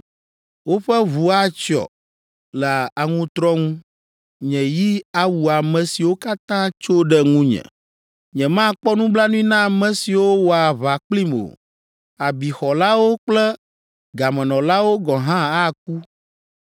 Woƒe ʋu atsyɔ le aŋutrɔ ŋu nye yi awu ame siwo katã tso ɖe ŋunye. Nyemakpɔ nublanui na ame siwo wɔa aʋa kplim o; abixɔlawo kple gamenɔlawo gɔ̃ hã aku.